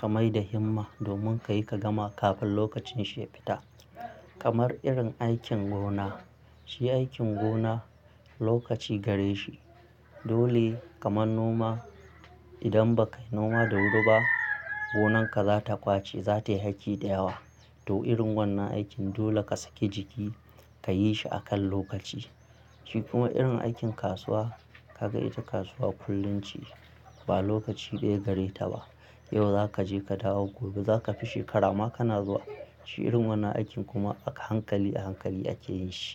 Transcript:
ka mai da himma domin kayi ka gama kafin lokacin shi ya fita. Kamar irin aikin gona, shi aikin gona lokaci gare shi. Dole kamar noma, idan ba ka yi noma da wuri ba gonan ka za ta bace, za ta yi aiki da yawa. To irin wannan aikin dole ka saki jiki ka yi shi a kan lokaci. Shi kuma irin aikin kasuwa, ka ga ita kasuwa kullum ce, ba lokaci ɗaya gare ta ba. Yau za ka je ka dawo, gobe za ka fi shekara ma ka na zuwa. Shi irin wannan aikin kuma a hankali a hankali ake yin shi.